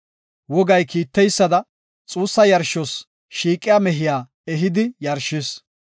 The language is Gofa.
Wogay kiiteysada xuussa yarshos shiiqiya mehiya ehidi yarshis.